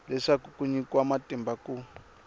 leswaku ku nyikiwa matimba ku